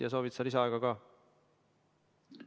Ja soovid sa lisaaega ka?